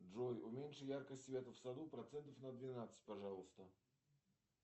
джой уменьши яркость света в саду процентов на двенадцать пожалуйста